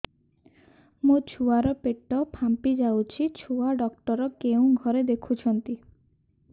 ମୋ ଛୁଆ ର ପେଟ ଫାମ୍ପି ଯାଉଛି ଛୁଆ ଡକ୍ଟର କେଉଁ ଘରେ ଦେଖୁ ଛନ୍ତି